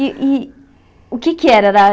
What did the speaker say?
E e o que é que era? Era